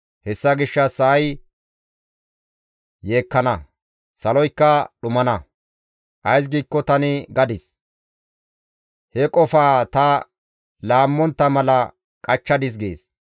Hessa gishshas sa7ay yeekkana; saloykka dhumana. Ays giikko tani gadis; he qofaa ta laammontta mala qachchadis» gees.